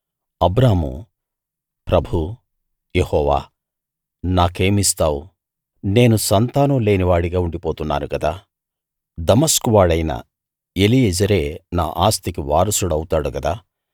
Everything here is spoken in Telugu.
అబ్రాము ప్రభూ యెహోవా నాకేం ఇస్తావు నేను సంతానం లేనివాడిగా ఉండిపోతున్నాను కదా దమస్కు వాడైన ఎలీయెజెరే నా ఆస్తికి వారసుడు అవుతాడు కదా